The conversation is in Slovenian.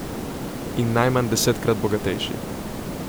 In najmanj desetkrat bogatejši.